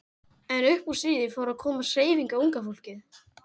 En upp úr stríði fór að komast hreyfing á unga fólkið.